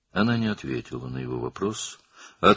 O, onun sualına cavab vermədi,